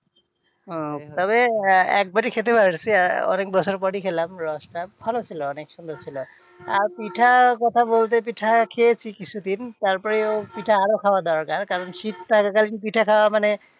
উহ তবে একবারই খেতে পারছি অনেক বছর পরই খেলাম রসটা, ভালো ছিল অনেক সুন্দর ছিল আর পিঠার কথা বলতে পিঠা খেয়েছি কিছু দিন তারপরেও পিঠা আরও খাওয়া দরকার কারণ শীত থাকাকালীন পিঠা খাওয়া মানে